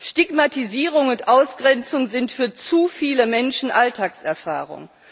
Stigmatisierung und Ausgrenzung sind für zu viele Menschen Alltagserfahrung.